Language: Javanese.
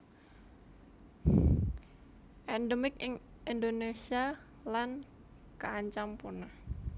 Endemik ing Indonésia lan kaancam punah